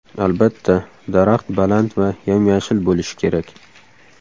Albatta, daraxt baland va yam-yashil bo‘lishi kerak.